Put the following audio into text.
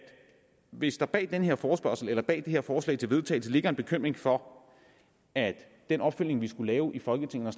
hvis der bag den her forespørgsel eller bag det her forslag til vedtagelse ligger en bekymring for at den opfølgning vi skal lave i folketinget